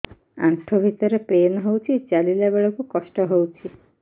ଆଣ୍ଠୁ ଭିତରେ ପେନ୍ ହଉଚି ଚାଲିଲା ବେଳକୁ କଷ୍ଟ ହଉଚି